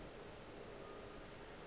ke ka baka la eng